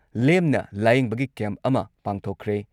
ꯂꯦꯝꯅ ꯂꯥꯌꯦꯡꯕꯒꯤ ꯀꯦꯝꯞ ꯑꯃ ꯄꯥꯡꯊꯣꯛꯈ꯭ꯔꯦ ꯫